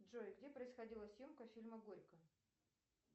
джой где происходила съемка фильма горько